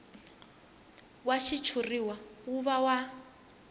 wa xitshuriwa wu va wa